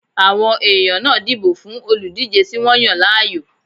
Àwọn èèyàn náà dìbò fún olùdíjé tí wọ́n yàn láàyò